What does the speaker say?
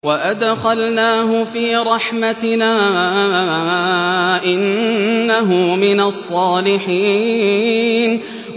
وَأَدْخَلْنَاهُ فِي رَحْمَتِنَا ۖ إِنَّهُ مِنَ الصَّالِحِينَ